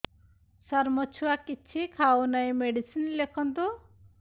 ସାର ମୋ ଛୁଆ କିଛି ଖାଉ ନାହିଁ ମେଡିସିନ ଲେଖନ୍ତୁ